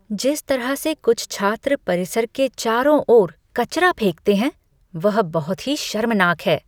जिस तरह से कुछ छात्र परिसर के चारों ओर कचरा फेंकते हैं, वह बहुत ही शर्मनाक है।